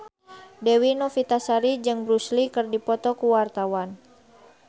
Dewi Novitasari jeung Bruce Lee keur dipoto ku wartawan